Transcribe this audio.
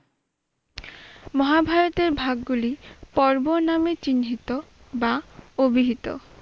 মহাভারতের ভাগগুলি পর্ব নামে চিহ্নিত বা অভিহিত।